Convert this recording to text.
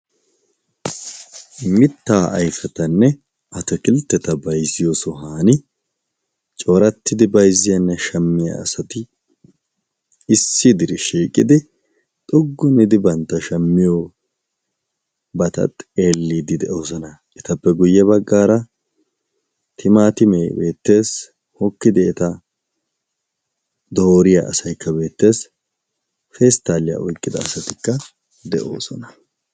mittaa ayfatanne atakiltteta bayzziyo sohan coorattidi bayzziyaanne shammiya asati issi diri shshiiqidi xoqqu gidi bantta shammiyobata xeelliidi de'oosona etappe guyye baggaara timaatimee beettees hokkidi eta dooriyaa asaykka beettees pesttaaliyaa oyqqida asatikka de'oosona